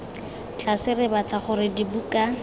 tlase re batla gore dibuka